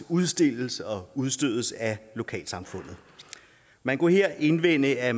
udstilles og udstødes af lokalsamfundet man kunne her indvende at